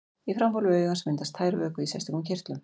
Í framhólfi augans myndast tær vökvi í sérstökum kirtlum.